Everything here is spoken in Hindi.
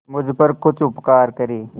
मुझ पर कुछ उपकार करें